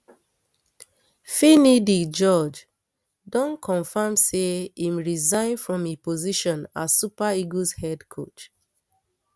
finidi george don confam say im resign from im position as super eagles head coach